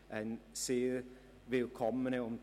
Dabei bietet sich eine jeweils sehr willkommene und